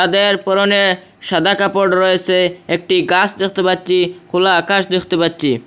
এদের পরনে সাদা কাপড় রয়েছে একটি গাছ দেখতে পাচ্ছি খোলা আকাশ দেখতে পাচ্ছি।